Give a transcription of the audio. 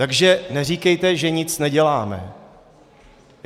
Takže neříkejte, že nic neděláme.